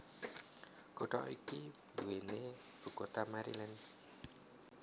Kutha iki duweni ibu kota Maryland